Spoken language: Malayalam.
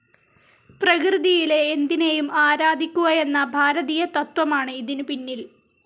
പ്രകൃതിയിലെ എന്തിനെയും ആരാധിക്കുകയെന്ന ഭാരതീയ തത്ത്വമാണ് ഇതിനു പിന്നിൽ.